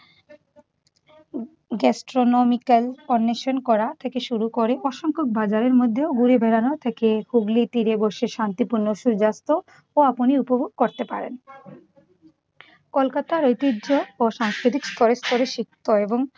destronomical permission করা থেকে শুরু করে অসংখ্যক বাজারের মধ্যেও ঘুরে বেড়ানো থেকে হুগলীর তীরে বসে শান্তিপূর্ণ সূর্যাস্তও আপনি উপভোগ করতে পারেন। কলকাতার ঐতিহ্য ও সাংস্কৃতিক স্তরে স্তরে সিক্ত এবং